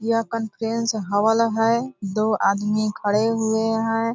यह conference hall है दो आदमी खड़े हुए है।